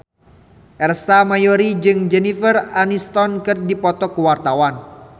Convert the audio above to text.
Ersa Mayori jeung Jennifer Aniston keur dipoto ku wartawan